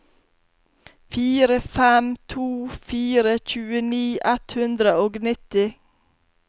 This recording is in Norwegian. fire fem to fire tjueni ett hundre og nitti